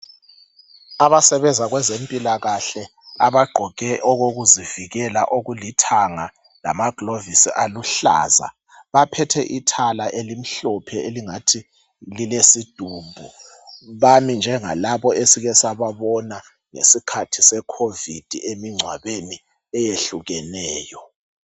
Abasebenza kwezempilakahle abagqoke okokuzivikela okulithanga lamagilovisi aluhlaza. Baphethe ithala elimhlophe elingathi lilesidumbu bami njengalabo esike sababona ngesikhathi seCovid emngcwabeni eyehlukeneyo.